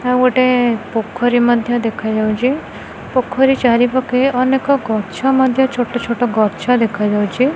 ଆଉ ଗୋଟେ ପୋଖରୀ ମଧ୍ଯ ଦେଖା ଯାଉଚି ପୋଖରୀ ଚାରି ପାଖେ ଅନେକ ଗଛ ମଧ୍ଯ ଛୋଟ ଛୋଟ ଗଛ ଦେଖା ଯାଉଚି।